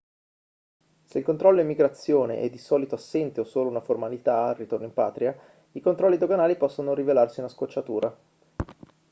se il controllo immigrazione è di solito assente o solo una formalità al ritorno in patria i controlli doganali possono rivelarsi una scocciatura